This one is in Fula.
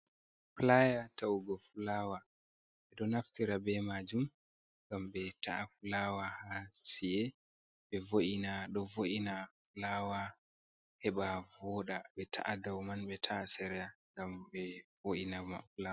Playa ta’ugo fulawa ɓe ɗo naftira be majum ngam ɓe ta’a fulawa hasie ɓe vo'ina do vo’ina flawa heba voda be ta’a dau man be ta’a ser’a ngam be vo’ina.